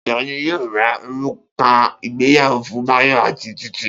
Ta ni yóò ra òrùka ìgbéyàwó fún Báyọ̀ àti Títí?